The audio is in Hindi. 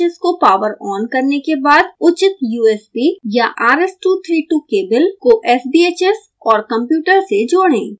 sbhs को पॉवर on करने के बाद उचित usb/rs232 केबल को sbhs और कंप्यूटर से जोड़ें